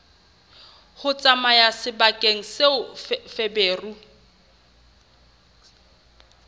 ho tsamaya sebakeng seo feberu